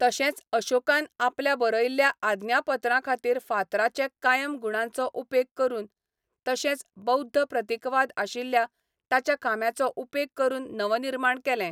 तशेंच अशोकान आपल्या बरयल्ल्या आज्ञापत्रांखातीर फातराचे कायम गुणांचो उपेग करून, तशेंच बौध्द प्रतीकवाद आशिल्ल्या ताच्या खांब्यांचो उपेग करून नवनिर्माण केलें.